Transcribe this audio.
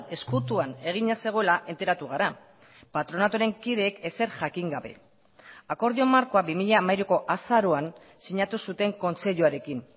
ezkutuan egina zegoela enteratu gara patronatuaren kideek ezer jakin gabe akordio markoa bi mila hamairuko azaroan sinatu zuten kontseiluarekin